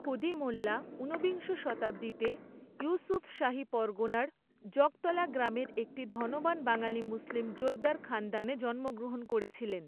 খুদি মোল্লা উনবিংশ শতাব্দীতে ইঊসুফশাহী পরগণার জগতলা গ্রামের একটি ধনবান বাঙ্গালী মুসলিম জোতদার খান্দানে জন্মগ্রহণ করেছিলেন।